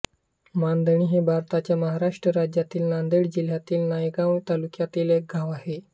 मांदणी हे भारताच्या महाराष्ट्र राज्यातील नांदेड जिल्ह्यातील नायगाव तालुक्यातील एक गाव आहे